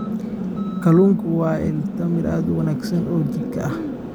Kalluunku waa il tamar aad u wanaagsan oo jidhka ah.